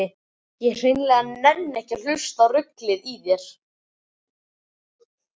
Ég hreinlega nenni ekki að hlusta á ruglið í þér.